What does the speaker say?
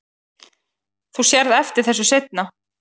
Þú sérð eftir þessu seinna.